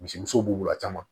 Misi musow b'u bila caman